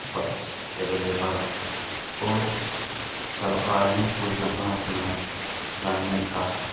बस अवेलेबल है और सवारियों को जहाँ अपना जाने का --